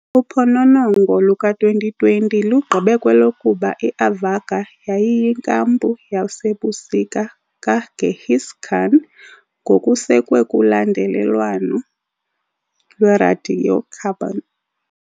Uphononongo luka-2020 lugqibe kwelokuba i-Avarga yayiyinkampu yasebusika kaGenghis Khan, ngokusekwe kulandelelwano lweradiocarbon.